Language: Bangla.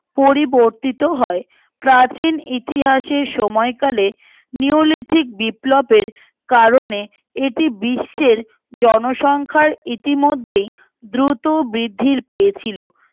পরিবর্তিত হয় প্রাচীন ইতিহাসের সময়কালে নিয়লিপিক বিপ্লবের কারণের এটি বিশ্বের জনসংখ্যার ইতিমধেই দ্রুত বৃদ্ধি পেয়েছিলো